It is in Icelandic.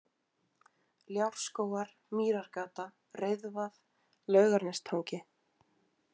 Ljárskógar, Mýrargata, Reiðvað, Laugarnestangi